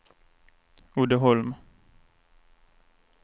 Uddeholm